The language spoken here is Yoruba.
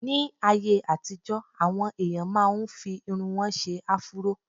Ní ayé àtijọ́, àwọn èèyàn máa n fi irun wọn ṣe áfúró